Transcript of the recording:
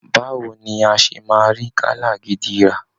Báwo ni a ṣe máa rí gálà gidi rà!